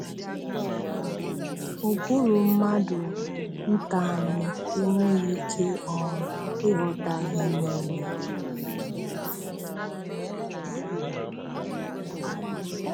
Ụbụrụ mmadụ nta anyị enweghị ike um ịghọta ihe niile.